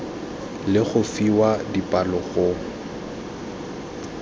le go fiwa dipalo go